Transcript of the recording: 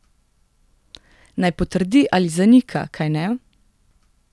Naj potrdi ali zanika, kajne?